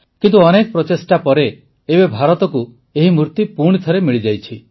କିନ୍ତୁ ଅନେକ ପ୍ରଚେଷ୍ଟା ପରେ ଏବେ ଭାରତକୁ ଏହି ମୂର୍ତ୍ତି ପୁଣିଥରେ ମିଳିଯାଇଛି